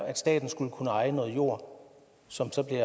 at staten skulle kunne eje noget jord som så bliver